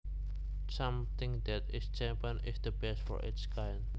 Something that is champion is the best for its kind